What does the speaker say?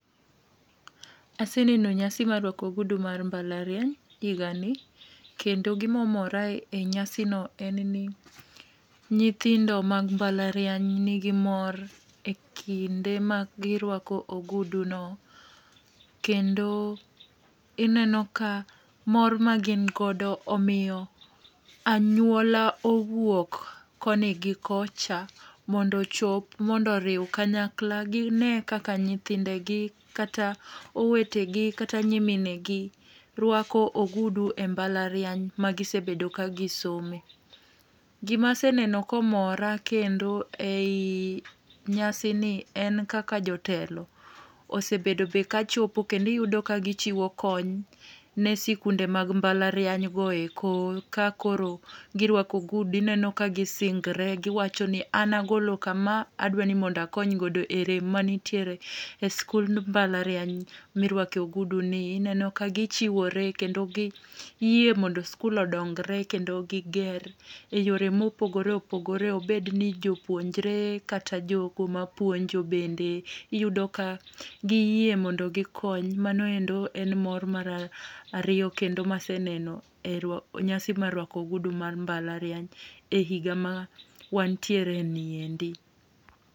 Aseneno nyasi mar rwako ogudu mar mbalariany higani. Kendo gimo omora e nyasino en ni, nyithindo mag mbalariany nigi mor e kinde ma girwako ogudu no. Kendo ineno ka mor ma gin godo omiyo anyuola owuok koni gi kocha mondo ochop mondo oriw kanyakla, gine kaka nyithindegi, kata owetegi, kata nyiminegi rwako ogudu e mbalariany ma gisebedo ka gisome. Gima aseneno komora kendo ei nyasi ni en kaka jotelo osebedo be kachopo kendo iyudo ka gichiwo kony, ne sikunde mag mbalariany go eko. Ka koro girwako ogudu, ineno ka gisingore, giwacho ni, "an agolo kama, adwaro ni mondo akony godo e rem manitie e sikund mbalariany mirwakoe ogudu ni". Ineno ka gichiwore, kendo giyie mondo sikul odongore , kendo giger e yore mopogore opogore. Obed ni jopuonjore kata jogo mapuonjo bende, iyudo ka giyie mondo gikony. Mano endo en mor mar ariyo ma aseneno e nyasi mar rwako ogudu mar mbalariany, e higa ma wantiere ni endi.